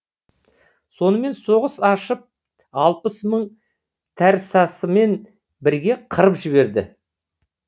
сонымен соғыс ашып алпыс мың тәрсасымен бірге қырып жіберді